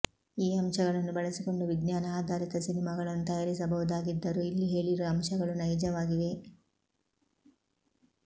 ಈ ಅಂಶಗಳನ್ನು ಬಳಸಿಕೊಂಡು ವಿಜ್ಞಾನ ಆಧಾರಿತ ಸಿನಿಮಾಗಳನ್ನು ತಯಾರಿಸಬಹುದಾಗಿದ್ದರೂ ಇಲ್ಲಿ ಹೇಳಿರುವ ಅಂಶಗಳು ನೈಜವಾಗಿವೆ